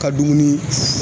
Ka dumuni